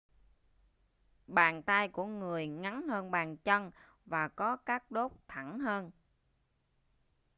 bàn tay của người ngắn hơn bàn chân và có các đốt thẳng hơn